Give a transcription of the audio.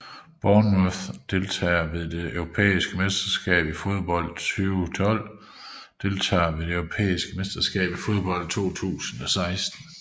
Bournemouth Deltagere ved det europæiske mesterskab i fodbold 2012 Deltagere ved det europæiske mesterskab i fodbold 2016